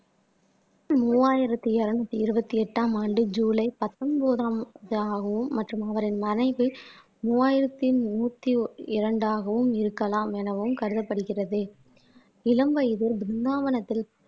மூவாயிரத்தி இருநூத்தி இருபத்தி எட்டாம் ஆண்டு ஜூலை பத்தொன்பதாம் ஆகும் மற்றும் அவரின் மனைவி மூவாயிரத்தி நூத்தி இரண்டாகவும் இருக்கலாம் எனவும் கருதப்படுகிறது இளம் வயதில் பிருந்தாவனத்தில்